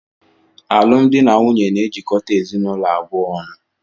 Alụmdi na nwunye na-ejikọta ezinụlọ abụọ ọnụ